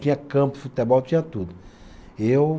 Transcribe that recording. Tinha campo, futebol, tinha tudo. E eu